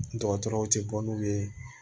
Dɔgɔtɔrɔw tɛ bɔ n'u ye